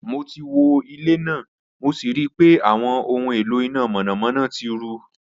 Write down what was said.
Mo ti wo ile naa mo si rii pe awọn ohun elo ina mọnamọna ti ru